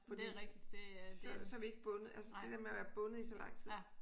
Fordi så er vi ikke bundet altså det dér med at være bundet i så lang tid